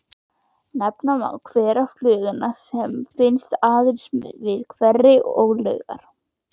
Nefna má hverafluguna sem finnst aðeins við hveri og laugar.